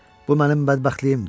Bu mənim bədbəxtliyimdir.